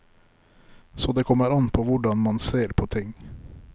Så det kommer an på hvordan man ser på ting.